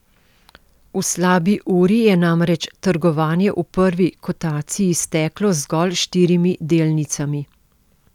V slabi uri je namreč trgovanje v prvi kotaciji steklo z zgolj štirimi delnicami.